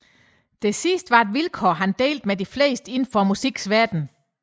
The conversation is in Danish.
Det sidste var et vilkår han delte med de fleste inden for musikkens verden